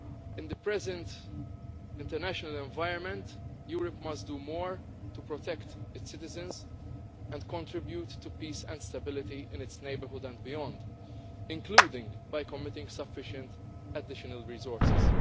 In the present international environment, Europe must do more to protect its citizens and contribute to peace and stability in its neighbourhood and beyond, including by committing sufficient additional resources.